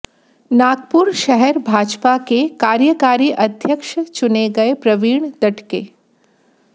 नागपुर शहर भाजपा के कार्यकारी अध्यक्ष चुने गए प्रवीण दटके